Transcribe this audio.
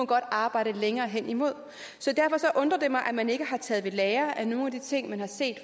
godt arbejde længere hen imod så derfor undrer det mig at man ikke har taget ved lære af nogle af de ting man har set